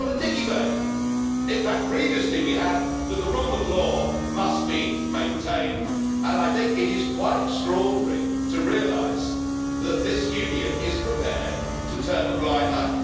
Not a dickey bird. In fact, previously we heard that the rule of law must be maintained, and it is quite extraordinary to realise that this Union is prepared to turn a blind eye.